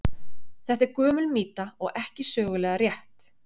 Þetta er gömul mýta og ekki sögulega rétt.